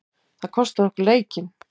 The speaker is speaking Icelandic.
Það kostaði okkur leikinn.